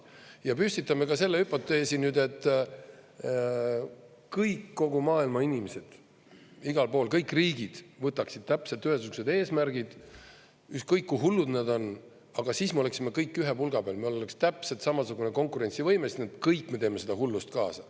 Ja püstitame ka selle hüpoteesi nüüd, et kõik kogu maailma inimesed igal pool, kõik riigid võtaksid täpselt ühesugused eesmärgid, ükskõik kui hullud nad on, aga siis me oleksime kõik ühe pulga peal, me oleks täpselt samasugune, konkurentsivõimelised, kõik me teeme seda hullust kaasa.